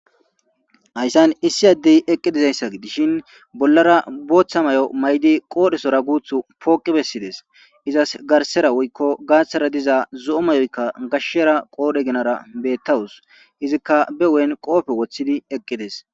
hayssan issi addey eqqidizayssa dishin bollara booththa may7o may7di qoodhesora guuth pooqi bessides izas garsera woykko gaaththara diza zo7o mayoykka gashshera qoodhe ginara bettawus izikka be ween qoofe woththidi eqqides